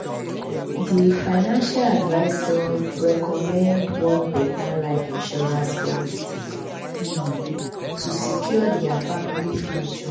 di financial advisor recommend one better life insurance policy um to secure dia family future.